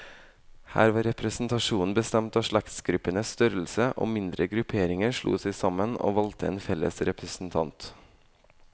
Her var representasjonen bestemt av slektsgruppenes størrelse, og mindre grupperinger slo seg sammen, og valgte en felles representant.